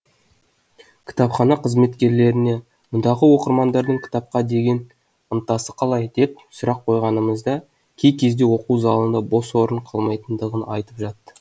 кітапхана қызметкерлеріне мұндағы оқырмандардың кітапқа деген ынтасы қалай деп сұрақ қойғанымызда кей кезде оқу залында бос орын қалмайтындығын айтып жатты